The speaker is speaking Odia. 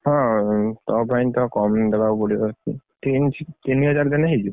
ହଁ ତମ ପାଇଁ ତ କମେଇଦବାକୁ ପଡିବ। ତିନି ତିନିହଜାର ଦେଲେ ହେଇଯିବ।